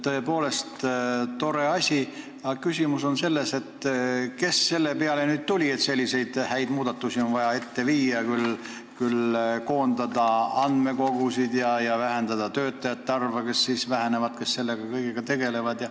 Tõepoolest tore asi, aga küsimus on selles, et kes selle peale nüüd tuli, et selliseid häid muudatusi on vaja ellu viia, koondada andmekogusid ja vähendada töötajate arvu, kes selle kõigega tegelevad.